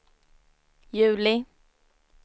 juli